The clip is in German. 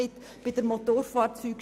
Das stört mich.